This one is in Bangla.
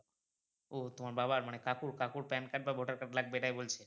ও তোমার বাবার মানে কাকুর, কাকুর PANcard বা voter card লাগবে এটাই বলছে?